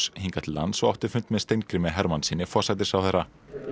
hingað til lands og átti fund með Steingrími Hermannssyni forsætisráðherra